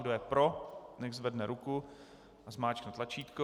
Kdo je pro, ať zvedne ruku a zmáčkne tlačítko.